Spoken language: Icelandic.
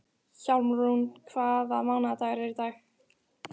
Hjálmrún, hvaða mánaðardagur er í dag?